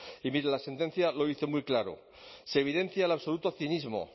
y mire la sentencia lo dice muy claro se evidencia el absoluto cinismo